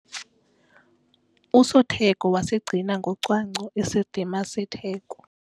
Usotheko wasigcina ngocwangco isidima setheko.